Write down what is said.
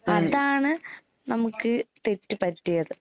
അതാണ് നമുക്ക് തെറ്റ് പറ്റിയത്.